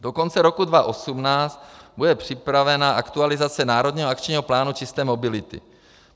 Do konce roku 2018 bude připravena aktualizace národního akčního plánu čisté mobility.